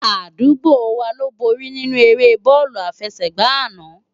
Adúgbò wá ló bóri ninú éré bòlú àfésègbá àná